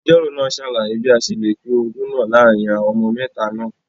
Agbẹjọro naa ṣalaye bi a ṣe le pin ogún naa laarin awọn ọmọ mẹta naa